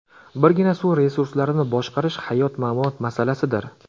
Birgina suv resurslarini boshqarish hayot-mamot masalasidir.